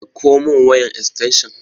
Ɗakko mun wayan estanshan